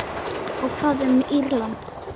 Og hvað um Írland?